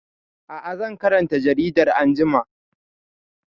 Aa, zan karanta jaridar anjima